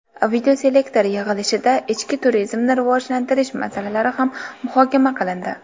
Videoselektor yig‘ilishida ichki turizmni rivojlantirish masalalari ham muhokama qilindi.